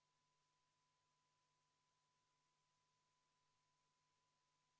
Muudatusettepanek nr 2, esitatud Sotsiaaldemokraatliku Erakonna fraktsiooni poolt, juhtivkomisjoni ettepanek: jätta arvestamata.